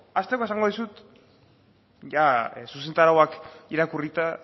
hasteko esango dizut zuzentarauak irakurrita